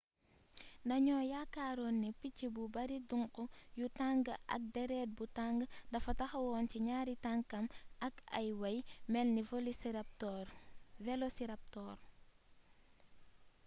dañoo yaakaaroon ni picc bu bari duŋk yu tàng ak déret bu tàng dafa taxawoon ci ñaari tankam ak ay wey melni velociraptor